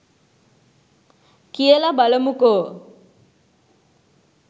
කියලා බලමුකෝ